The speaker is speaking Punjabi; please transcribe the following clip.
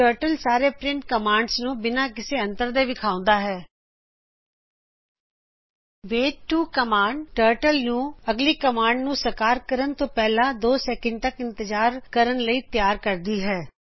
ਟਰਟਲ ਸਾਰੇ ਪ੍ਰਿੰਟ ਕਮਾਂਡਾਂ ਨੂੰ ਬਿਨਾ ਕਿਸੇ ਅੰਤਰ ਦੇ ਵਿਖਾਉਂਦੀ ਹੈਂ ਵੇਟ 2 ਕਮਾਂਡ ਟਰਟਲ ਨੂੰ ਅਗਲੀ ਕਮਾਂਡ ਨੂੰ ਸਮਾਪਤ ਕਰਨ ਤੋਂ ਪਹਿਲਾ 2 ਸੈਕਂਡ ਤਕ ਇੰਤਜਾਰ ਕਰਨ ਲਈ ਤਿਆਰ ਕਰਦੀ ਹੈਂ